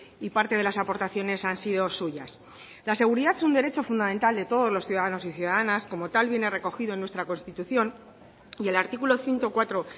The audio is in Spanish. y parte de las aportaciones han sido suyas la seguridad es un derecho fundamental de todos los ciudadanos y ciudadanas como tal viene recogido en nuestra constitución y el artículo ciento cuatro